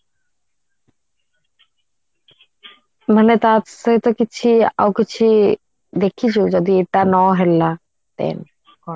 ମାନେ ତା ସହିତ କିଛି ଆଉ କିଛି ଦେଖିଛୁ ମାନେ ଯଦି ଏଇଟା ନ ହେଲା then